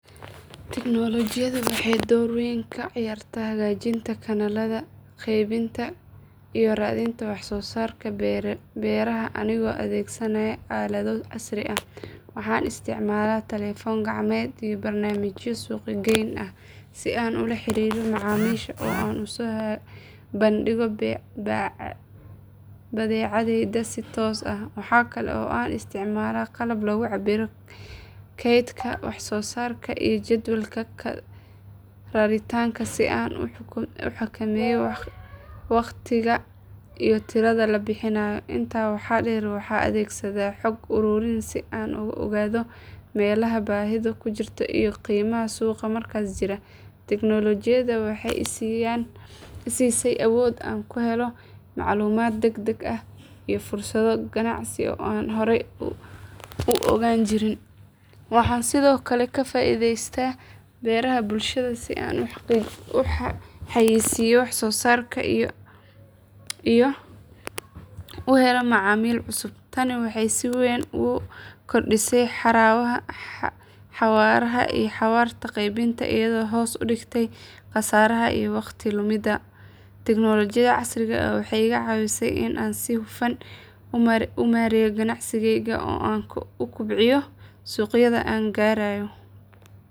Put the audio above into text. Tignoolajiyadu waxay door weyn ka ciyaartaa hagaajinta kanaalada qaybinta iyo raadinta wax soo saarka beeraha anigoo adeegsanaya aalado casri ah. Waxaan isticmaalaa taleefan gacmeed iyo barnaamijyo suuqgeyn ah si aan ula xiriiro macaamiisha oo aan u soo bandhigo badeecadayda si toos ah. Waxa kale oo aan isticmaalaa qalab lagu cabbiro kaydka wax soo saarka iyo jadwalka raritaanka si aan u xakameeyo waqtiga iyo tirada la bixinayo. Intaa waxaa dheer waxaan adeegsadaa xog ururin si aan u ogaado meelaha baahidu ka jirto iyo qiimaha suuqa markaas jira. Tignoolajiyada waxay i siisay awood aan ku helo macluumaad degdeg ah iyo fursado ganacsi oo aan hore u ogaan jirin. Waxaan sidoo kale ka faa’iidaysta baraha bulshada si aan u xayeysiiyo wax soo saarka iyo u helo macaamiil cusub. Tani waxay si weyn u kordhisay xawaaraha iyo waxtarka qaybinta iyadoo hoos u dhigtay khasaaraha iyo waqtiga lumay. Tignoolajiyada casriga ah waxay iga caawisay in aan si hufan u maareeyo ganacsiga oo aan ku kobciyo suuqyada aan gaarayo.